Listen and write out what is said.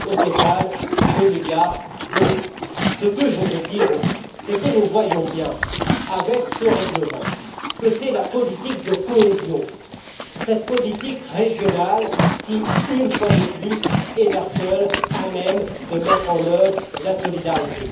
Au total deux milliards d'euros. Ce que je veux dire aussi, c'est que nous voyons bien, avec ce règlement, que c'est la politique de cohésion, cette politique régionale qui, une fois de plus, est la seule à même de mettre en œuvre la solidarité.